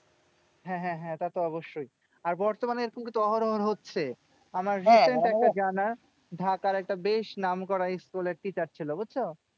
হ্যাঁ হ্যাঁ হ্যাঁ তা তো অবশ্যই। আর বর্তমানে এরকম কিন্তু অহরহ হচ্ছে। আমার recent একটা জানা, ঢাকার একটা বেশ নাম করা school এর teacher ছিল, বুঝছো?